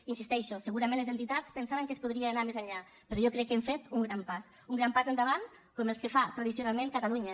hi insisteixo segurament les entitats pensaven que es podria anar més enllà però jo crec que hem fet un gran pas un gran pas endavant com els que fa tradicionalment catalunya